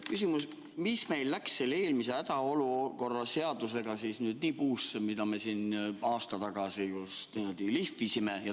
Küsimus: mis meil selle eelmise hädaolukorra seadusega, mida me siin aasta tagasi lihvisime, siis nüüd nii puusse läks?